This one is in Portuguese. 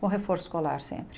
Com reforço escolar sempre.